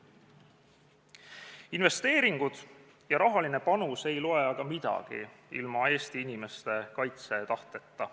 Investeeringud ja rahaline panus ei loe aga midagi ilma Eesti inimeste kaitsetahteta.